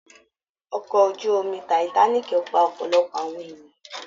Ọkọ ojú omi Titanic pa ọ̀pọ̀lọpọ̀ àwọn ènìyàn